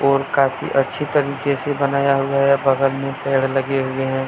उनका भी अच्छी तरीके से बनाया हुआ है बगल में पेड़ लगे हुए हैं।